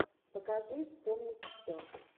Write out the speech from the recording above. покажи вспомнить все